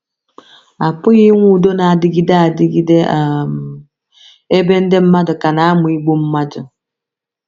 A pụghị inwe udo na - adịgide adịgide um ebe ndị mmadụ ka na - amụ igbu mmadụ.